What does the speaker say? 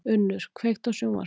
Unnur, kveiktu á sjónvarpinu.